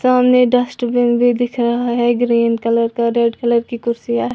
सामने डस्टबिन भी दिख रहा है ग्रीन कलर का रेड कलर की कुर्सियां --